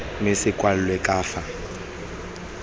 mme se kwalwe ka fa